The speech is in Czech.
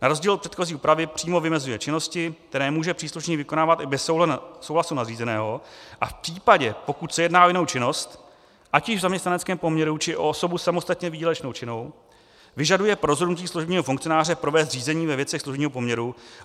Na rozdíl od předchozí úpravy přímo vymezuje činnosti, které může příslušník vykonávat i bez souhlasu nadřízeného, a v případě, pokud se jedná o jinou činnost, ať již v zaměstnaneckém poměru, či o osobu samostatně výdělečně činnou, vyžaduje pro rozhodnutí služebního funkcionáře provést řízení ve věcech služebního poměru.